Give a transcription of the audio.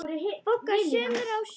BOGGA: Sumir á sjó!